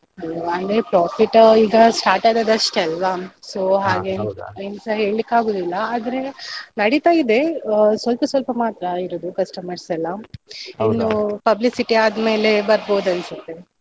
ಅಂದ್ರೆ profit ಈಗ start ಆದದ್ದು ಅಷ್ಟೇ ಅಲ್ಲ so ಏನ್ಸ ಹೇಳಿಕ್ಕಾಗುದಿಲ್ಲ ಆದ್ರೆ ನಡಿತಾ ಇದೆ ಸ್ವಲ್ಪ ಸ್ವಲ್ಪ ಮಾತ್ರ ಇರುದು customers ಎಲ್ಲ publicity ಆದ್ಮೇಲೆ ಬರ್ಬೋದು ಅನ್ಸತ್ತೆ.